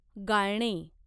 गाळणे